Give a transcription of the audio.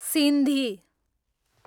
Sindhi